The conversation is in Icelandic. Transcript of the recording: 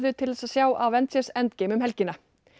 til að sjá Avengers endgame um helgina